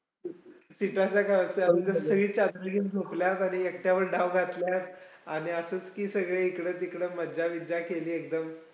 Seat च्या खालच्या सगळे चादरी घेऊन झोपल्यात आणि एकट्यावर धाव घातल्यात, आणि असंच की सगळे इकडं तिकडं मज्जा-बिज्जा केली एकदम